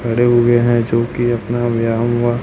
खड़े हुए है जो कि अपना व्याम वा--